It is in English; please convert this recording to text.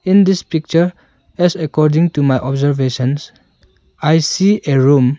In this picture as according to my observations I see a room.